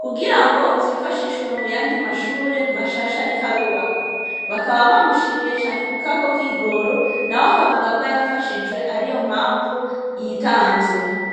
kugirango zifashishwe muyandi mashure mashasha arikw'arubakwa. Bakaba bamushimiye cane kubwako kigoro nawe akavuga ko yafashijwe ariyompamvu yitanze.